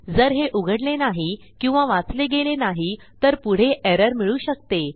जर हे उघडले नाही किंवा वाचले गेले नाही तर पुढे एरर मिळू शकते